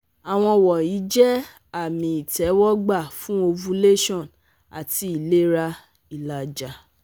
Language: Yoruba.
Awọn wọnyi jẹ ami itẹwọgba fun ovulation ati ilera ilaja